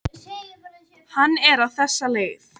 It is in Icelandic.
Hann er á þessa leið: